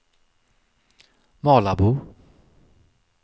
Malabo